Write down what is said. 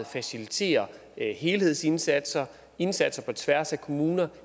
faciliterer helhedsindsatser indsatser på tværs af kommuner